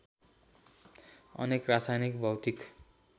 अनेक रासायनिक भौतिक